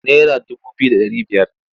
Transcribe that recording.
Naira dubu biyu da ɗari biyar.